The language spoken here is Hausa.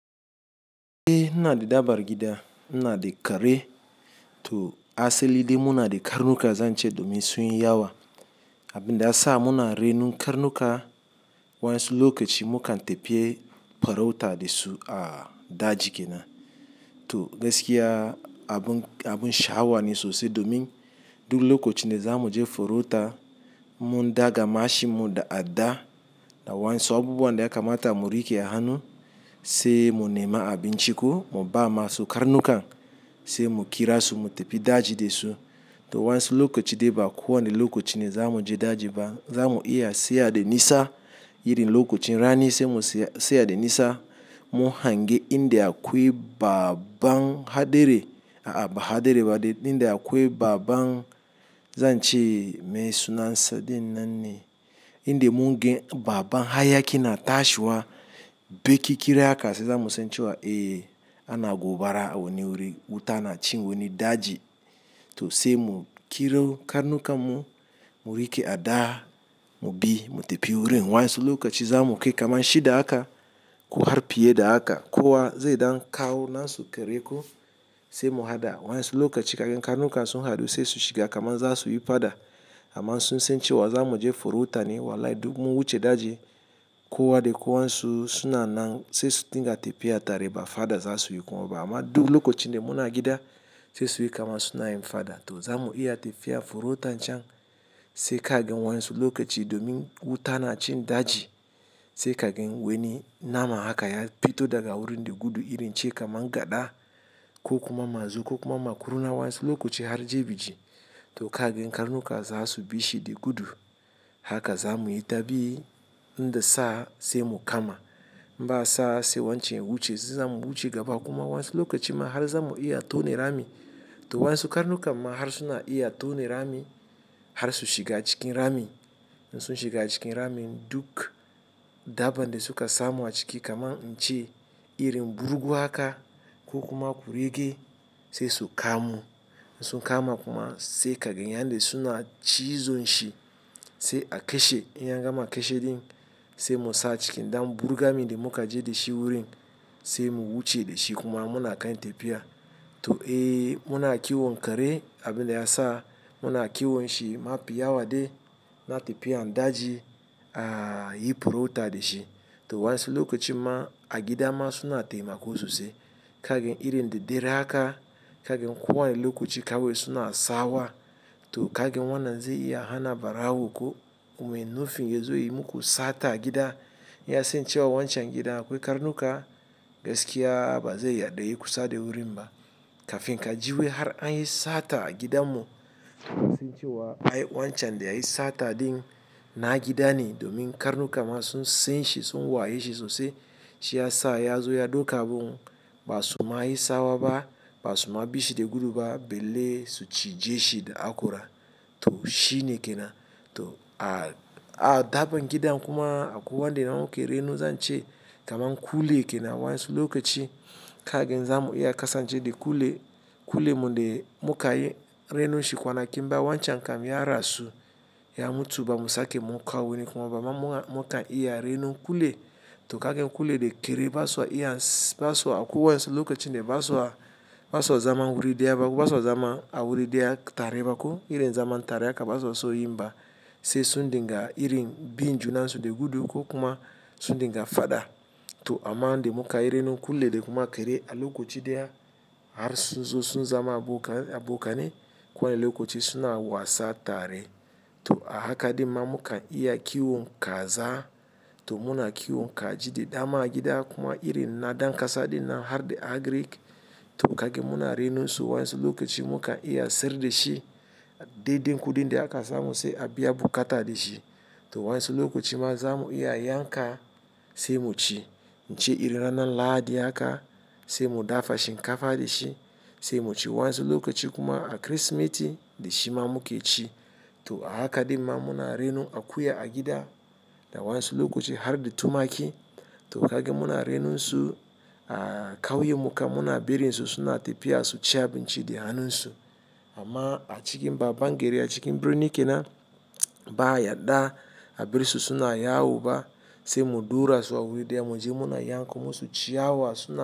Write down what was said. Eh ina da dabbar gida, ina da kare to aselide muna de karnuka zance domin sunyi yawa. Abin da ya sa muna renon karnuka, wansu lokaci mukan tefiye farauta dasu a daji kenan. To gaskiya abun, abun shawa ne sosai domin duk lokacin da za mu je farauta, mun daga mashin mun da adda da wayansu abubuwan da ya kamata mu rike a hannu. Se mun nema abinciko, mu ba ma su karnukan se mu kira su mu tafi daji de su. To wayansu lokaci de ba kowane lokaci ne zamu je daji ba, za mu iya tsaya danisa irin lokacin rani se mu tsaya danisa. Mu hange inda akwai babban hadare, a'a ba hadari ba de inda akwai babban, zance me sunan sa din nanne. Inda mungan babban hayaki na tashiwa, baqi qirin shine zamu san cewa, "Eh ana gobara a wani wurin, wuta na cin wani daji." To se mu kiro karnukan mu, mu rike a dda, mu bi mu tafi wurin. Wayansu lokaci za mu kai kamar shida haka, ko har fiye da haka. Kowa zai dan kawo nasu kere ko se mu hada, wayansu lokaci. Kagan karnukan sun hadu se su shiga kamar za su yi fada. Amma sun san cewa zamu je farauta ne. Wallahi duk mun wuce daji, kowa de kowansu suna nan se su dinga tafiya tare ba fada za su yi kuma ba. Amma duk lokacin da muna gida se su yi kamar suna yin fada to za mu iya tafiya farautan can se kagan wayansu lokaci domin wuta na cin daji. Se kagan wani nama haka ya fito daga wurin dagudu irin ce kamar gada ko kuma mazo ko kuma makurna wayansu lokaci har jibi ci. To kagan karnuka za su bishi dagudu. Haka za muyi tabi in da sa'a se mu kama. Ba sa'a se wancan wuce, za mu wuce gaba kuma wansu lokaci ma har za mu iya tone rami. To wayansu karnukan ma har suna iya tone rami, har su shiga cikin ramin. Sun shiga cikin ramin duk dabban da suka samu a ciki kamar ince irin burgu haka ko kuma kurege se su kamo. Sun kama kuma se kagan yan da suna cizon shi se a kashe. In ya gama kashe din se mu sa a ciki. Dan burgamin de muka je de shi wurin se mu wuce de shi kuma muna kan tafiya. To eh muna kiwon kare abin da ya sa muna kiwon shi. Ma fi yawade na tafiyan daji, a yi farauta de shi. To wayansu lokaci ma a gida ma suna taimako sosai. Kagan irin da dare haka, kagan kowane lokaci kawai suna sawa. To kagin wannan zai iya hana barawo ko mai yin nufin yazo yi muku sata gida. Ya sance wa wancan gidan akwai karnuka, gaskiya ba zai yarda yayu kusa da wurin ba. Kafin ka ji wai har an yi sata gidanmu, kasan cewa ai wancan da ya yi sata din na gida ne domin karnuka ma sun san shi, sun waye shi sosai. Shi ya sa ya zo ya dauka abun. Ba su ma yi tsawa ba, ba su ma bishi dagudu ba, balle su cije shi da hakora. To shi ne ke nan. To a dabban gidan kuma akwai wanda muke reno zance kamar kule kenan wayansu lokaci. Kagan za mu iya kasance de kule, kule mu de muka yi renon shi kwana kin baya wancan kam ya rasu. Ya mutu ba mu sake mu kawo wani kuma ba, amma mukan iya renon kule. To kagan kule de kare ba sa iya ba sa akwai wayansu lokacin da ba sa, ba sa zama wuri dayaba ko ba sa zama a wuri daya tare ba ko, irin zaman tare haka ba sa so yi ba. Se su dinga irin bin junan su dagudu ko kuma su dinga fada. To amma da muka yi renon kule da kuma kere a lokaci daya har sun zo sun zama abokan, abokane. Kowane lokaci suna wasa tare. To a haka dimma mukan iya kiwon kaza to muna kiwon kaji da dama a gida kuma irin na dankasa din nan har da agrik. To kagan muna renon su wayansu lokaci mukan iya sayar da shi. Dede kudin da aka samu sai a biya bukata da shi. To wayansu lokaci ma za mu iya yanka se mu ci. Ce irin ranan Lahadi haka se mu dafa shinkafa da shi se mu ci. Wayansu lokaci kuma a Kirsimeti da shi ma muke ci. To a haka dimma muna renon akuya a gida da wayansu lokacin har da tumaki. To kagan muna renon su, a kauyanmu kam muna barin su suna tafiya su ci abinci da hannun su. Amma a cikin baban gari a cikin birni ke nan, ba a yarda a barsu suna yawo ba se mu dura su a wuri daya mu je muna yanko musu ciyawa suna.